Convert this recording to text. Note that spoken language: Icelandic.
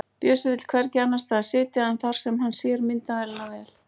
Bjössi vill hvergi annars staðar sitja en þar sem hann sér myndina vel.